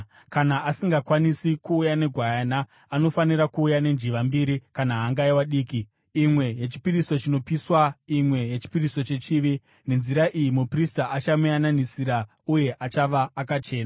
Kana asingakwanisi kuuya negwayana, anofanira kuuya nenjiva mbiri kana hangaiwa diki mbiri, imwe yechipiriso chinopiswa imwe yechipiriso chechivi. Nenzira iyi muprista achamuyananisira uye achava akachena.’ ”